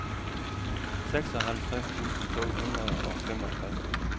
seksoghalvtreds tusind to hundrede og femogtres